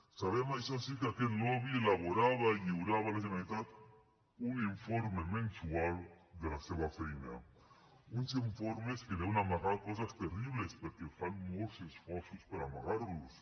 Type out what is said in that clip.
sabem això sí que aquest lobby elaborava i lliurava a la generalitat un informe mensual de la seva feina uns informes que deuen amagar coses terribles perquè fan molts esforços per amagar los